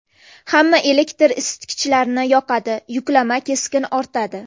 Hamma elektr isitkichlarni yoqadi, yuklama keskin ortadi.